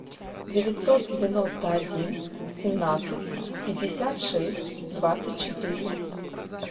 девятьсот девяносто один семнадцать пятьдесят шесть двадцать четыре